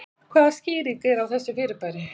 Hvaða skýring er á þessu fyrirbæri?